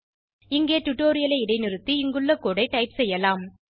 இங்கே டுடோரியலை இடைநிறுத்தி இங்குள்ள கோடு ஐ டைப் செய்யலாம்